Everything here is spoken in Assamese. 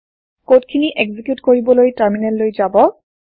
কড খিনি এক্সিকিউত কৰিবলৈ টাৰমিনেল লৈ যাব